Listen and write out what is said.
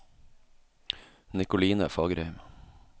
Nikoline Fagerheim